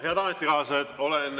Head ametikaaslased!